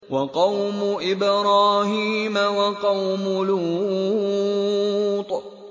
وَقَوْمُ إِبْرَاهِيمَ وَقَوْمُ لُوطٍ